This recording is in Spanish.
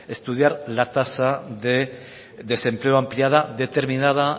estudiar la tasa de desempleo ampliada determinada